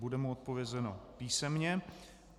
Bude mu odpovězeno písemně.